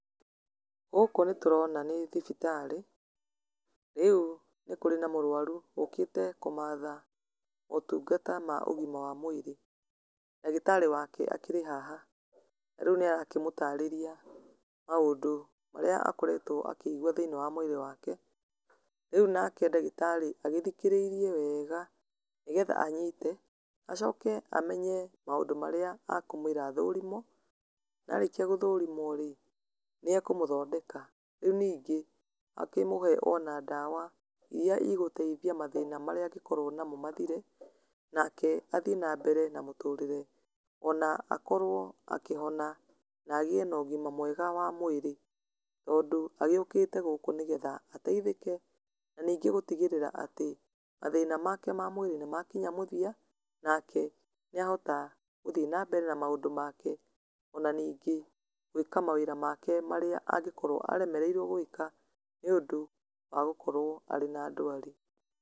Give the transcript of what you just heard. Gũkũ nĩtũrona nĩ thibitarĩ, rĩu nĩkũrĩ na mũrwaru ũũkĩte kũmatha mũtungata ma ũgima wa mwĩrĩ, ndagĩtarĩ wake akĩrĩ haha na rĩu nĩarakĩmũtarĩria maũndũ marĩa akoretwo akĩigua thĩiniĩ wa mwĩrĩ wake, rĩu nake ndagĩtarĩ agĩthikĩrĩirie weega nĩgetha anyite acoke amenye maũndũ marĩa akũmũira athũrimwo na arĩkia gũthũrimwo rĩ nĩekũmũthondeka, rĩu ningĩ akĩmũhe ona ndawa iria igũteithia mathĩĩna marĩa angĩkorwo namo mathire, nake athiĩ na mbere na mũtũrĩre ona akorwo akĩhona na agĩe na ũgima mwega wa mwĩrĩ, tondũ agĩũkĩte gũkũ nĩgetha ateithĩke na ningĩ gũtigĩrĩra atĩ mathĩna make ma mwĩrĩ nĩmakinya mũthia nake nĩahota gũthiĩ na mbere na maũndũ make ona ningĩ gwĩka mawĩra make marĩa angĩkorwo aremereirwo gwĩka nĩũndũ wa gũkorwo arĩ na ndwari.